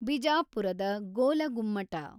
ಬಿಜಾಪುರದ ಗೋಲಗುಮ್ಮಟ